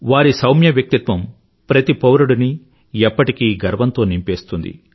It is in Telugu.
వారి సౌమ్య వ్యక్తిత్వం ప్రతి పౌరుడినీ ఎప్పటికీ గర్వంతో నింపేస్తుంది